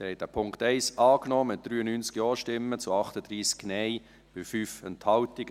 Sie haben den Punkt 1 angenommen, mit 93 Ja- zu 38 Nein-Stimmen bei 5 Enthaltungen.